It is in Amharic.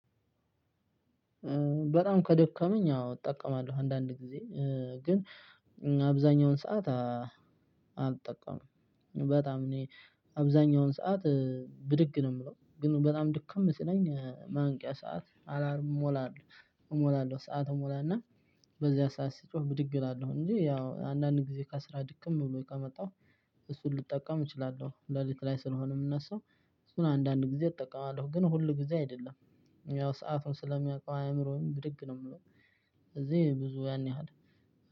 በጣም ከደከመኝ አዎ እጠቀማለሁ አንዳንድ ጊዜ ግን አብዛኛውን ሰዓት አልጠቀምም። በጣም እኔ አብዛኛውን ሰዓት ብድግ ነው የምለው ግን በጣም ድክም ሲለኝ ማንቂያ ሰዓት አላርም እሞላለሁ እሞላለሁ ሰዓት እሞላ እና በዚያ ሰዓት ሲጮህ ብድግ እላለሁ እንጂ ያው አንዳንድ ጊዜ ከስራ ድክም ብሎኝ ከመጣው እሱን ልጠቀም እችላለሁ። ሌሊት ላይ ስለሆነ እምነሳው። እሱን አንዳንድ ጊዜ እጠቀማለሁ ግን ሁል ጊዜ አይደለም። ያው ሰአቱን ስለሚያውቀው አእምሮዬም ብድግ ነው የምለው። ስለዚህ ብዙ ያን ያህል